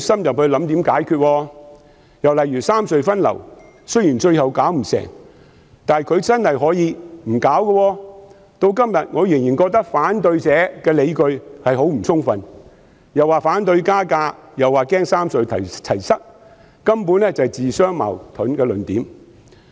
又例如三隧分流，雖然最後做不到，但她其實真的可以不去處理，至今我仍然覺得反對者的理據很不充分，既說反對加價，又說擔心"三隧齊塞"，根本是自相矛盾。